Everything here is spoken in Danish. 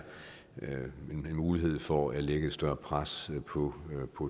en mulighed for at lægge et større pres på